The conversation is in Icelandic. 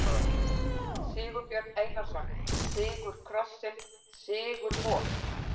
Sigurbjörn Einarsson, Sigur krossins- sigur vor